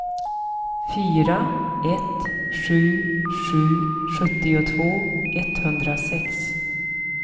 fyra ett sju sju sjuttiotvå etthundrasex